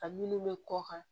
Ka minnu bɛ kɔ kan